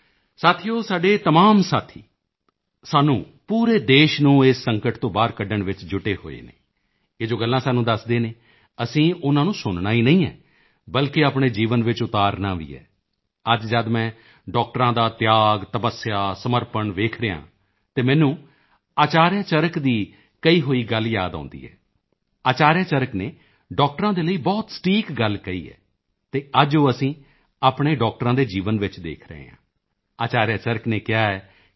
ਸਾਥੀਓ ਸਾਡੇ ਇਹ ਤਮਾਮ ਸਾਥੀ ਸਾਨੂੰ ਪੂਰੇ ਦੇਸ਼ ਨੂੰ ਇਸ ਸੰਕਟ ਤੋਂ ਬਾਹਰ ਕੱਢਣ ਵਿੱਚ ਜੁਟੇ ਹੋਏ ਹਨ ਇਹ ਜੋ ਗੱਲਾਂ ਸਾਨੂੰ ਦੱਸਦੇ ਹਨ ਅਸੀਂ ਉਨ੍ਹਾਂ ਨੂੰ ਸੁਣਨਾ ਹੀ ਨਹੀਂ ਹੈ ਬਲਕਿ ਆਪਣੇ ਜੀਵਨ ਵਿੱਚ ਉਤਾਰਨਾ ਵੀ ਹੈ ਅੱਜ ਜਦ ਮੈਂ ਡਾਕਟਰਾਂ ਦਾ ਤਿਆਗਤਪੱਸਿਆ ਸਮਰਪਣ ਦੇਖ ਰਿਹਾ ਹਾਂ ਤਾਂ ਮੈਨੂੰ ਅਚਾਰਿਆ ਚਰਕ ਦੀ ਕਹੀ ਹੋਈ ਗੱਲ ਯਾਦ ਆਉਂਦੀ ਹੈ ਅਚਾਰਿਆ ਚਰਕ ਨੇ ਡਾਕਟਰਾਂ ਦੇ ਲਈ ਬਹੁਤ ਸਟੀਕ ਗੱਲ ਕਹੀ ਹੈ ਅਤੇ ਅੱਜ ਉਹ ਅਸੀਂ ਆਪਣੇ ਡਾਕਟਰਾਂ ਦੇ ਜੀਵਨ ਵਿੱਚ ਦੇਖ ਰਹੇ ਹਾਂ ਅਚਾਰਿਆ ਚਰਕ ਨੇ ਕਿਹਾ ਹੈ ਕਿ